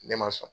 Ne ma sɔn